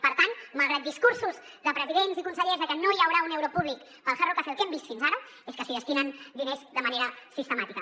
per tant malgrat discursos de presidents i consellers de que no hi haurà un euro públic per al hard rock cafè el que hem vist fins ara és que s’hi destinen diners de manera sistemàtica